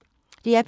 DR P3